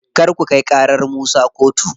Kar ku kai ƙarar Musa kotu.